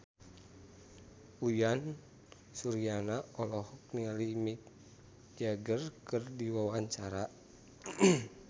Uyan Suryana olohok ningali Mick Jagger keur diwawancara